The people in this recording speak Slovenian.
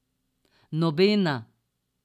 Nobena.